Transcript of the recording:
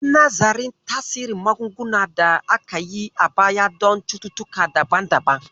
Yi nazarin tasirin magungunan da aka yi a baya don cututtuka daban-daban.